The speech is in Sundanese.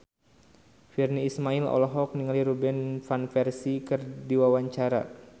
Virnie Ismail olohok ningali Robin Van Persie keur diwawancara